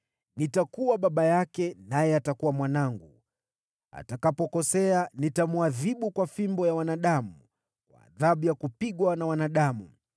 Nitakuwa baba yake, naye atakuwa mwanangu. Atakapokosea nitamwadhibu kwa fimbo ya wanadamu, kwa adhabu ya kupigwa na wanadamu.